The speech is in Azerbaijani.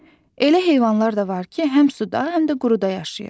Elə heyvanlar da var ki, həm suda, həm də quruda yaşayır.